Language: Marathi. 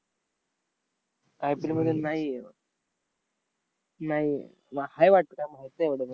I. P. L मध्ये नाही आहे नाही आहे. म हाय वाटतं, काय माहित नाय मलापण.